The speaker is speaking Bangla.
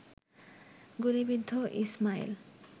গুলিবিদ্ধ ইসমাইল